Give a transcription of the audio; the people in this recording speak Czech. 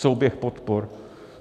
Souběh podpor.